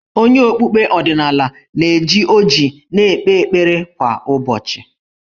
Onye okpukpe ọdịnala na-eji ọjị na-ekpe ekpere kwa ụbọchị.